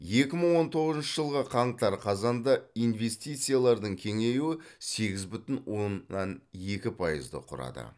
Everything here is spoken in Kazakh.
екі мың он тоғызыншы жылғы қаңтар қазанда инвестициялардың кеңеюі сегіз бүтін оннан екі пайызды құрады